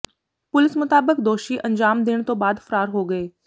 ਪੁਲਸ ਮੁਤਾਬਕ ਦੋ ਸ਼ੀ ਅੰਜਾਮ ਦੇਣ ਤੋਂ ਬਾਅਦ ਫ਼ਰਾਰ ਹੋ ਗਏ